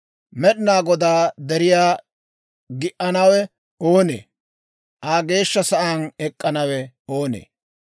Med'inaa Godaa deriyaa gi"anawe oonee? Aa geeshsha sa'aan ek'k'anawe oonee?